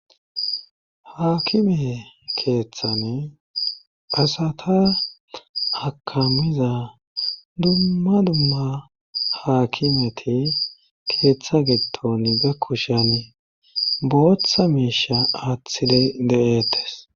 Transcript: haakime keeththane asata akamiza dumma dumma haakimeti keeththa getton gakkushen booththa miisha aathile de7eetes